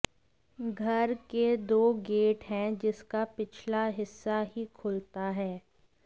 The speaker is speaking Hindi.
घर के दो गेट हैं जिसका पिछला हिस्सा ही खुलता है